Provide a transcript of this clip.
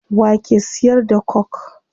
Wa ke siyar da coke?